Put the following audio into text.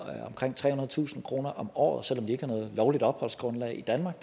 omkring trehundredetusind kroner om året selv om de ikke har noget lovligt opholdsgrundlag i danmark